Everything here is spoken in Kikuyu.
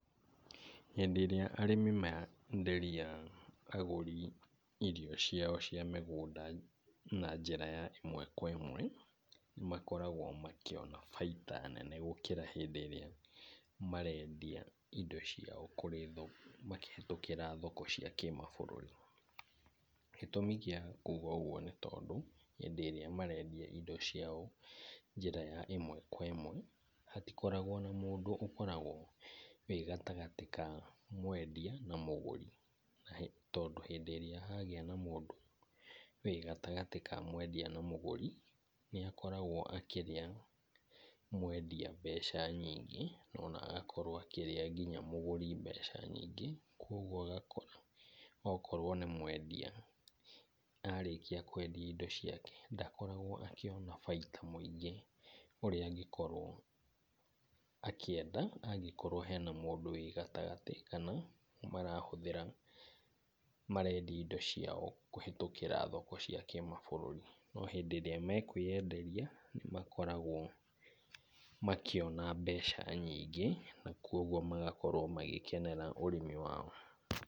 Hĩndĩ ĩrĩa arĩmi menderia agũri irio ciao cia mĩgũnda na njĩra ya ĩmwe kwa ĩmwe nĩ makoragwo makĩona baita nene gũkĩra hĩndĩ ĩrĩa marendia indo ciao kũrĩ thoko makĩhĩtũkĩra thoko cia kĩmabũrũri. Gĩtũmi gĩa kuga ũguo nĩ tondũ hĩndĩ ĩrĩa marendia indo ciao njĩra ya ĩmwe kwa ĩmwe hatikoragwo na mũndũ ũkoragwo wĩ gatagatĩ kao mwendia na mũgũri. Tondũ hĩndĩ ĩrĩa hagĩa mũndũ wĩ gatagatĩ ka mwendia na mũgũri, nĩ akoragwo akĩrĩa mwendia mbeca nyingĩ na ona agakorwo akĩrĩa mũgũri mbeca nyingĩ. Kwoguo ũgakora okorwo nĩ mwendia arĩkĩa kwendia indo ciake ndakoragwo akĩona baita mũingĩ ũrĩa angĩkorwo akĩenda angĩkorwo hena mũndũ wĩ gatagatĩ kana marahũthĩra marendia indo ciao kũhĩtũkĩra thoko cia kĩmabũrũri. No hĩndĩ ĩrĩa mekwĩenderia nĩ makoragwo makĩona mbeca nyingĩ na kwoguo magakorwo magĩkenera ũrĩmi wao.